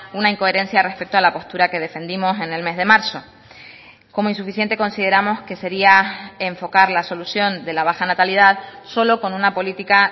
una incoherencia respecto a la postura que defendimos en el mes de marzo como insuficiente consideramos que sería enfocar la solución de la baja natalidad solo con una política